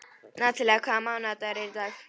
Natalía, hvaða mánaðardagur er í dag?